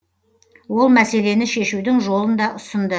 ол мәселені шешудің жолын да ұсынды